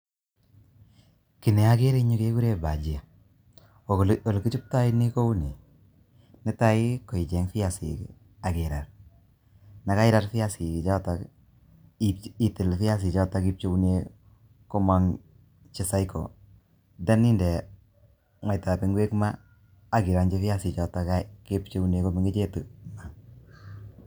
kiy neagere engyu kegure bajia, Ko olekichoptoi ni kouni, netai koichey viasik akirar, Yekairar viasikchotok itil viasichotok ipcheune komong' che cycle then inde mwaitan ingwek maa akirong'chi viasichotok kepcheune komengechitu maa.